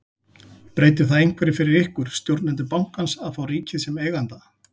Breytir það einhverju fyrir ykkur, stjórnendur bankans að fá ríkið sem eiganda?